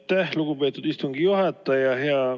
Aitäh, lugupeetud istungi juhataja!